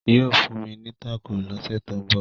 yóò fún mi taco l'ose to nbọ.